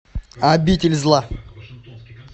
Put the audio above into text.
обитель зла